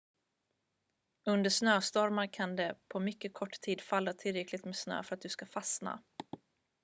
under snöstormar kan det på mycket kort tid falla tillräckligt med snö för att du ska fastna